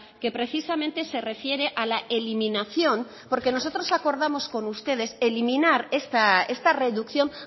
que precisamente se refiere a la eliminación porque nosotros acordamos con ustedes eliminar esta reducción